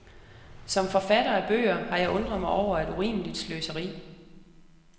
Som forfatter af bøger har jeg undret mig over et urimeligt sløseri.